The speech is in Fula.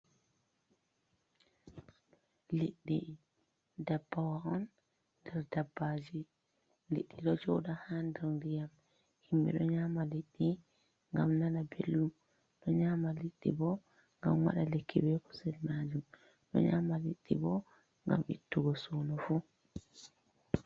Liddi, dabbawa on nder dabbaji, liɗɗi ɗo joɗa ha nder ndiyam, himɓe ɗo nyama liɗɗi ngam nana belɗum, ɗo nyama liɗɗi bo gam waɗa lekki be kusel majum, ɗo nyama liɗɗi bo gam ittugo suno fu.